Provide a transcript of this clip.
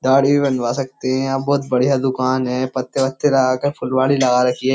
दाढ़ी भी बनवा सकते हैं बहुत बढ़िया दुकान है पत्ते बत्ते लगाकर फुलवाड़ी लगा रखी है।